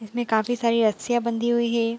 इसमें काफी सारी रस्सियां बंधी हुई है।